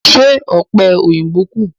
Ṣé ọ̀pẹ̀ òyìnbó kù?